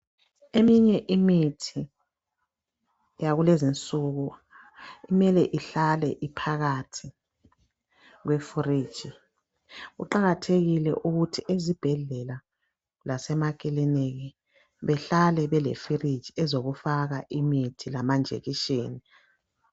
Eminye imithi yakulezinsuku mele ihlale iphakathi kwe fridge. Kuqakathekile ukuthi ezibhedlela lasemakiliniki behlale bele fridge ezokufaka imithi lamanjekisheni